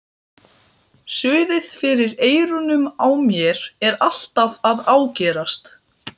Suðið fyrir eyrunum á mér er alltaf að ágerast.